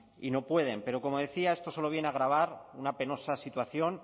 y no pueden pero como decía esto solo viene a agravar una penosa situación